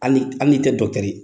Hali hali ni tɛ ye